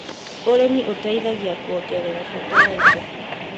ũrĩmi ũteithie kuongerera bata wa indo.